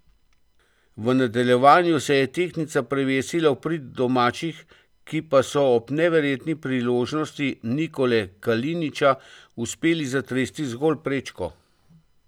V nadaljevanju se je tehtnica prevesila v prid domačih, ki pa so ob neverjetni priložnosti Nikole Kalinića uspeli zatresti zgolj prečko.